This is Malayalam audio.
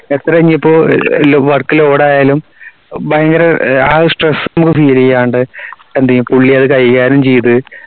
എത്ര ഇനിയിപ്പോ work load ആയാലും ഭയങ്കര ആഹ് stress ഒന്നു തിരിയാണ്ട്‌ എന്തേയും പുള്ളി അത് കൈകാര്യം ചെയ്തു